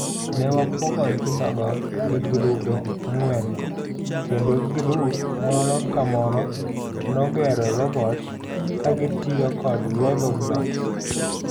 Ne wapogo nyithindogo e egirube ang'wen kendo girup moro kamoro nogero robot kagitiyo kod Lego blocks.